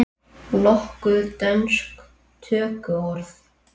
Nokkur dönsk tökuorð